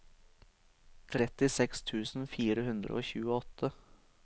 trettiseks tusen fire hundre og tjueåtte